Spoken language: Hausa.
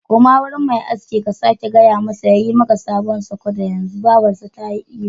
Koma gurinmai askin ka sake gaya masa ya yi maka salon sukodo yanzu! Babar sa ta yi ihu!